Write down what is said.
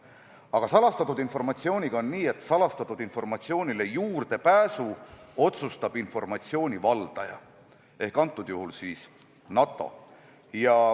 Aga salastatud informatsiooniga on nii, et sellele juurdepääsu otsustab informatsiooni valdaja ehk praegusel juhul NATO.